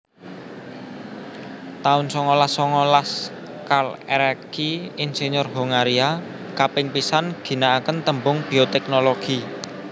taun songolas songolas Karl Ereky insinyur Hongaria kaping pisan ginaaken tembung bioteknologi